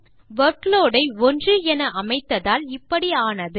workload ஐ 1என அமைத்ததால் இப்படி ஆனது